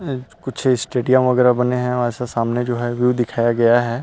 अ कुछ स्टेडियम वगैरह बने है वैसा सामने जो है व्यू दिखाया गया हैं।